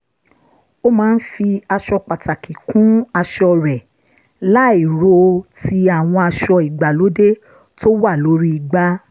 ó máa ń fi aṣọ pàtàkì kún aṣọ rẹ̀ láìro ti àwọn aṣọ ìgbàlóde tó wà lórí igbá